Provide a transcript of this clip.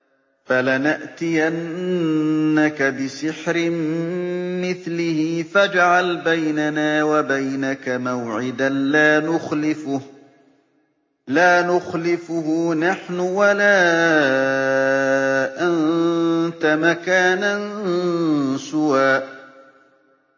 فَلَنَأْتِيَنَّكَ بِسِحْرٍ مِّثْلِهِ فَاجْعَلْ بَيْنَنَا وَبَيْنَكَ مَوْعِدًا لَّا نُخْلِفُهُ نَحْنُ وَلَا أَنتَ مَكَانًا سُوًى